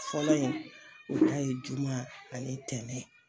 Fɔlɔ in o ta ye juma ani ntɛnɛn